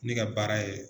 Ne ka baara ye